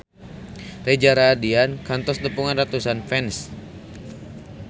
Reza Rahardian kantos nepungan ratusan fans